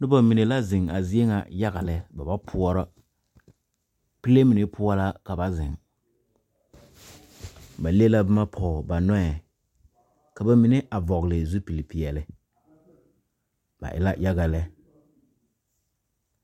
Nobɔ mine la zeŋ a zie ŋa yaga lɛ ba ba poɔrɔ pile mine poɔ la ka ba zeŋ ba le la bomma pɔg ba nɔɛ ka ba mine a vɔgle zupile peɛɛli ba e la yaga lɛ.